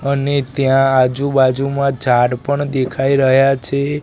અને ત્યાં આજુ બાજુમાં ઝાડ પણ દેખાય રહ્યા છે.